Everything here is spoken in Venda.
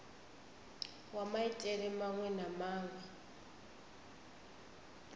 wa maitele maṅwe na maṅwe